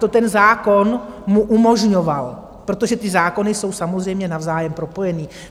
To ten zákon mu umožňoval, protože ty zákony jsou samozřejmě navzájem propojené.